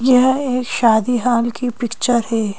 यह एक शादी हाल की पिक्चर है।